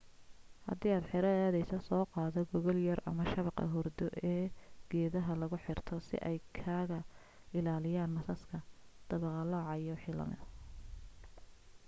haddi aad xero aad aadeyso soo qaado gogol yar ama shabaqa hurdo ee geedaha lagu xirto si ay kaag ilaaliyan masaska daba qalooca iyo waxii lamida